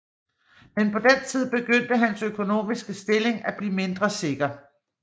Men på den tid begyndte hans økonomiske stilling at blive mindre sikker